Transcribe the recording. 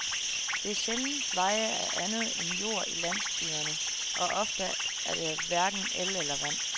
Der er sjældent veje af andet end jord i landsbyerne, og ofte er der hverken el eller vand.